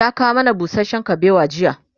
ya kawo mana busashen kubewa jiya